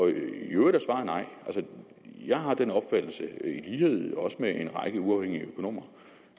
øvrigt er svaret nej jeg har den opfattelse i lighed med en række uafhængige økonomer